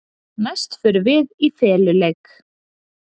Næst förum við í feluleik.